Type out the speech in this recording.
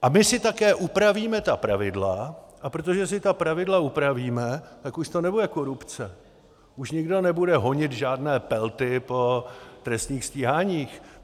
A my si také upravíme ta pravidla, a protože si ta pravidla upravíme, tak už to nebude korupce, už nikdo nebude honit žádné Pelty po trestních stíháních.